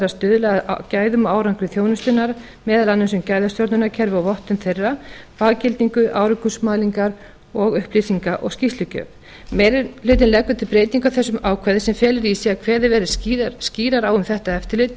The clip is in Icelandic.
að stuðla að gæðum og árangri þjónustunnar meðal annars um gæðastjórnunarkerfi og vottun þeirra faggildingu árangursmælingar og upplýsinga og skýrslugjöf meiri hlutinn leggur til breytingu á þessu ákvæði sem felur í sér að kveðið verði skýrar á um þetta eftirlit það